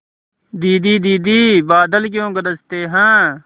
दीदी दीदी बादल क्यों गरजते हैं